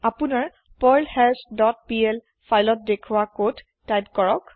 আপোনাৰ পাৰ্লহাছ dot PL ফাইলত দেখোৱা কদ টাইপ কৰক